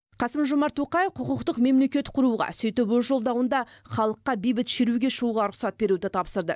қасым жомарт тоқаев құқықтық мемлекет құруға сөйтіп өз жолдауында халыққа бейбіт шеруге шығуға рұқсат беруді тапсырды